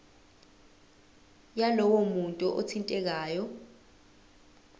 yalowo muntu othintekayo